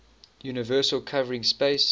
universal covering space